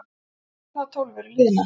Stundirnar tólf eru liðnar.